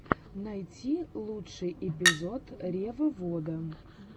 найти лучший эпизод ревовода